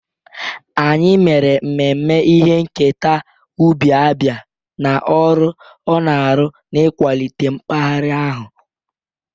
Anyị mere mmemme ihe nketa ubi Abia na ọrụ ọ na-arụ n'ịkwalite mpaghara ahụ.